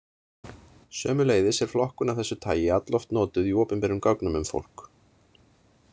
Sömuleiðis er flokkun af þessu tagi alloft notuð í opinberum gögnum um fólk.